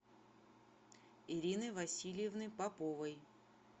ирины васильевны поповой